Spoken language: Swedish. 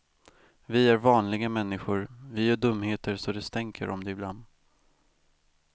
Vi är vanliga människor, vi gör dumheter så det stänker om det ibland.